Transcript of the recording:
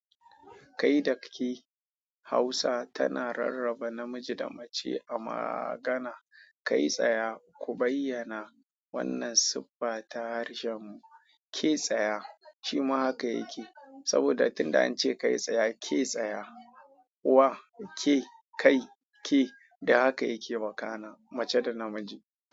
Kai daki Hausa tana rarraba namiji da mace a magana. Kai tsaya ku bayyana wannan siffa ta harshen mu. Ke tsaya shima haka yake saboda tunda an ce kai tsaya, ke tsaya. Wa ke kai ke, da haka yake maka mace da namiji.